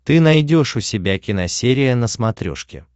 ты найдешь у себя киносерия на смотрешке